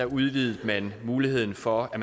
udvidede man muligheden for at